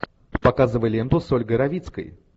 показывай ленту с ольгой равицкой